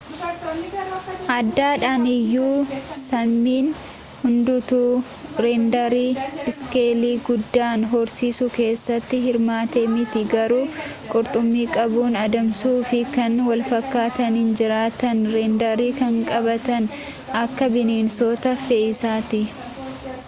adaadhaan iyyuu saamiin hundatu reendarii iskeelii guddaan horsiisuu keessatti hirmaate miti garuu qurxummii qabuu adamsuu fi kan walfakaataniin jiraatan reendarii kan qabaatan akka bineensota fe'iisaatti